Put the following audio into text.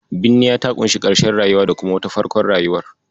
Binniya ta ƙunshi karshen rayuwa da kuma farkon wata rayuwar.